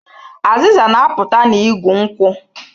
Azịza na-apụta n'igu nkwụ